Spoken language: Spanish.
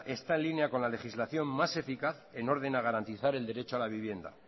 está en línea con la legislación más eficaz en orden a garantizar el derecho a la vivienda